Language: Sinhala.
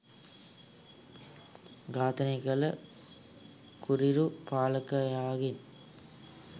ඝාතනය කළ කුරිරු පාලකයාගෙන්